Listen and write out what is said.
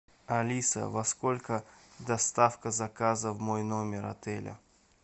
алиса во сколько доставка заказа в мой номер отеля